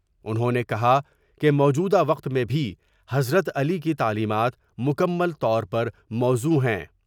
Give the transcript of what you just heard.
انہوں نے کہا کہ موجودہ وقت میں بھی حضرت علی کی تعلیمات مکمل طور پر موزوں ہیں ۔